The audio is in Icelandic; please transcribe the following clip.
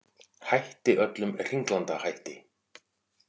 Hætti öllum hringlandahætti